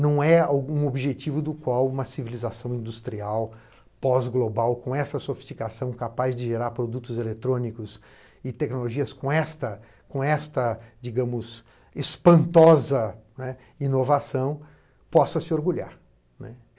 Não é algum objetivo do qual uma civilização industrial pós-global, com essa sofisticação, capaz de gerar produtos eletrônicos e tecnologias com esta, com esta espantosa inovação, possa se orgulhar.